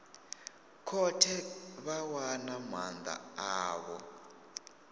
khothe vha wana maanda avho